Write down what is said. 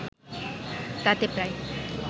তাতে প্রায়